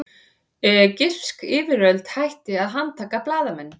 Egypsk yfirvöld hætti að handtaka blaðamenn